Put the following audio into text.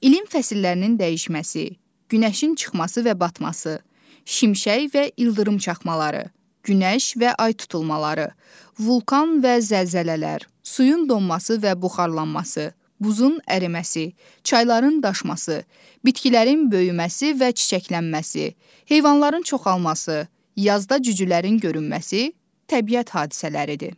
İlin fəslərinin dəyişməsi, günəşin çıxması və batması, şimşək və ildırım çaxmaları, günəş və ay tutulmaları, vulkan və zəlzələlər, suyun donması və buxarlanması, buzun əriməsi, çayların daşması, bitkilərin böyüməsi və çiçəklənməsi, heyvanların çoxalması, yazda cücülərin görünməsi təbiət hadisələridir.